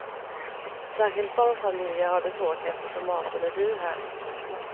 Särskilt barnfamiljer har det svårt eftersom maten är dyr här.